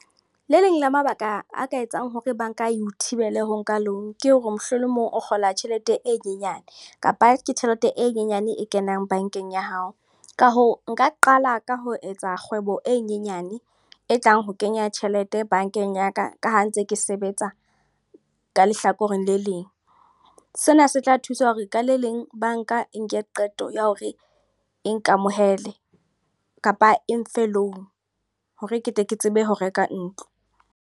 Le leng la mabaka a ka etsang hore banka eo thibele ho nka loan. Ke hore mohlolomong o kgola tjhelete e nyenyane. Kapa ke tjhelete e nyenyane e kenang bankeng ya hao. Ka hoo, nka qala ka ho etsa kgwebo e nyenyane. E tlang ho kenya tjhelete bankeng ya ka. Ka ha ntse ke sebetsa ka lehlakoreng le leng. Sena se tla thusa hore ka le leng banka e nke qeto ya hore e ikamohele. Kapa e nfe loan hore ketle ke tsebe ho reka ntlo.